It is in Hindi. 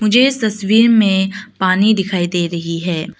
ये तस्वीर में पानी दिखाई दे रही है।